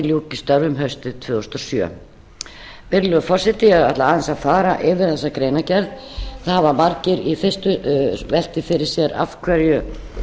ljúki störfum haustið tvö þúsund og sjö virðulegur forseti ég ætla aðeins að fara yfir þessa greinargerð það hafa margir í fyrstu velt því fyrir sér af hverju